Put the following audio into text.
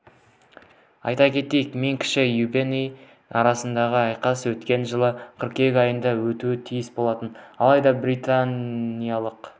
айта кетейік мен кіші юбэнк арасындағы айқас өткен жылы қыркүйек айында өтуі тиіс болатын алайда британиялықтың